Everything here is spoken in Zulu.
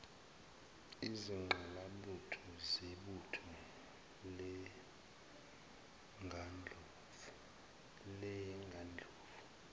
izingqalabutho zebutho leyengandlovu